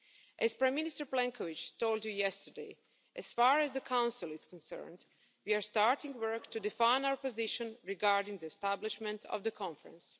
As Prime Minister Plenković told you yesterday, as far as the Council is concerned, we are starting work to define our position regarding the establishment of the Conference.